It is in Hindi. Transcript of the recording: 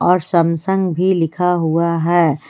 और सैमसंग भी लिखा हुआ है।